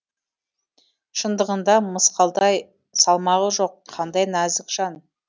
шындығында мысқалдай салмағы жоқ қандай нәзік жан